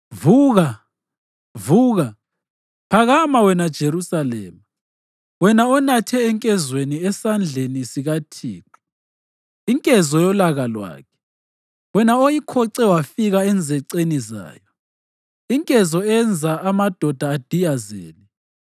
Vuka, vuka! Phakama wena Jerusalema, wena onathe enkezweni esandleni sikaThixo inkezo yolaka lwakhe, wena oyikhoce wafika enzeceni zayo; inkezo eyenza amadoda adiyazele.